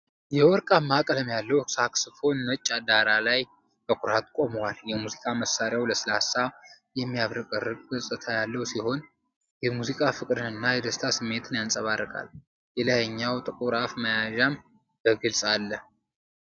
የወርቃማ ቀለም ያለው ሳክስፎን ነጭ ዳራ ላይ በኩራት ቆሟል። የሙዚቃ መሣሪያው ለስላሳ፣ የሚያብረቀርቅ ገጽታ ያለው ሲሆን፣ የሙዚቃ ፍቅርን እና የደስታ ስሜትን ያንጸባርቃል። የላይኛው ጥቁር አፍ መያዣም በግልጽ አለ።